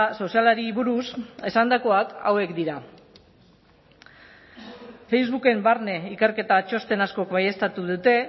sozialari buruz esandakoak hauek dira facebooken barne ikerketa txosten askok baieztatu dute